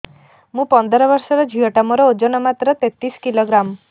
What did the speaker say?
ମୁ ପନ୍ଦର ବର୍ଷ ର ଝିଅ ଟା ମୋର ଓଜନ ମାତ୍ର ତେତିଶ କିଲୋଗ୍ରାମ